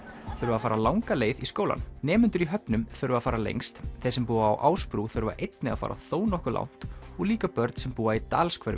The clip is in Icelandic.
þurfa að fara langa leið í skólann nemendur í höfnum þurfa að fara lengst þeir sem búa á Ásbrú þurfa einnig að fara þó nokkuð langt og líka börn sem búa í